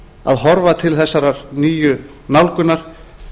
að horfa til þessarar nýju nálgunar